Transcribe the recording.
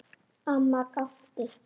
Amma gapti.